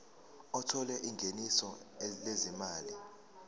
othola ingeniso lezimali